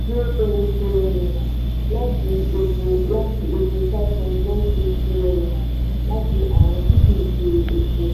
zero seven trillion naira láti epo láti epo five point nine six trillion naira láti àwọn tí kì í ṣe epo.